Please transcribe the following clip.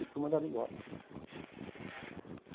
E fui mandado embora.